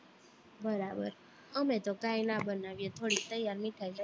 બરાબર અમે તો કઈ ના બનાવીએ થોડીક તૈયાર મીઠાઈ લઇ આવીએ